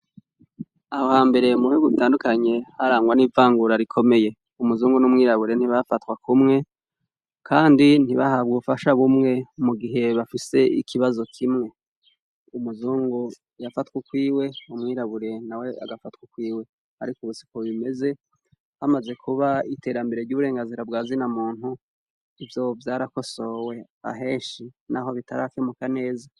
Aho hambere mubihugu bitandukanye harangwa n’ivangura rikomeye, umuzungu n’umwirabure ntibafatwa kumwe, Kandi ntibahabwa ubufasha bumwe mugihe bafise ikibazo kimwe, umuzungu yafatw’ukwiwe , umwirabure nawe agafatw’ukwiwe. Arik’ubu siko bimeze, hamaze kuba iterambere ry’uburenganzira bwa zina muntu, ivyo vyarakosowe ahenshi naho bitarakemuka neza.